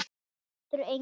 Það getur enginn!